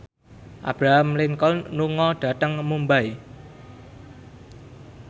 Abraham Lincoln lunga dhateng Mumbai